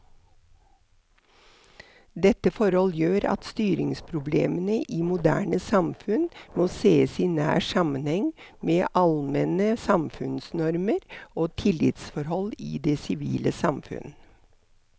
Dette forhold gjør at styringsproblemene i moderne samfunn må sees i nær sammenheng med allmenne samfunnsnormer og tillitsforhold i det sivile samfunn.